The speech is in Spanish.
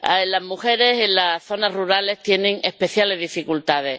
Las mujeres en las zonas rurales tienen especiales dificultades.